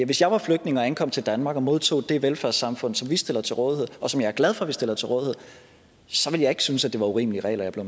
hvis jeg var flygtning og ankom til danmark og modtog det velfærdssamfund som vi stiller til rådighed og som jeg er glad for vi stiller til rådighed så ville jeg ikke synes at det var urimelige regler jeg blev